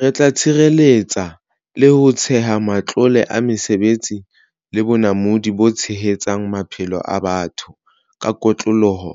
Re tla tshireletsa le ho theha matlole a mesebetsi le bonamodi bo tshehetsang maphelo a batho ka kotloloho